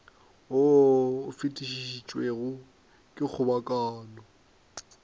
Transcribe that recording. wo o fetišitšwego ke kgobokano